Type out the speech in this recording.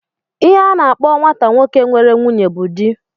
Ihe a na-akpọ nwata nwoke nwere nwunye bụ di